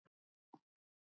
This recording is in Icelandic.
Elsku Elli afi.